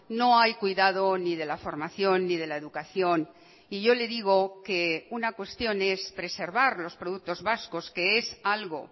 no hay cuidado ni de la formación ni de la educación y yo le digo que una cuestión es preservar los productos vascos que es algo